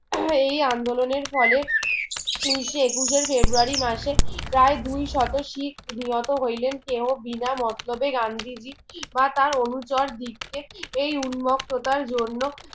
আহ এই আন্দোলনের ফলে উনিশে একুশের ফেব্রয়ারি মাসে প্রায় দুই শত শিখ নিহত হইলেন কেউ বিনা মতলবে গান্ধীজি বা তার অনুচর দিককে এই উত্মগ প্রতার জন্য